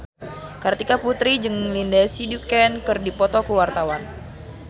Kartika Putri jeung Lindsay Ducan keur dipoto ku wartawan